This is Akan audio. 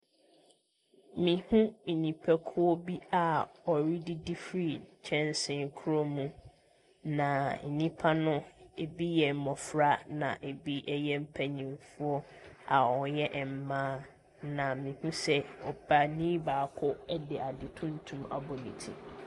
Mehu nnipakuo a wɔredidi firi kyɛnsee korɔ mu. Na nnipa no, ebi yɛ mmofra na ebi yɛ mpanimfoɔ a wɔyɛ mmaa. Na mehu sɛ ɔbaani baako de tuntum abɔ ne ti.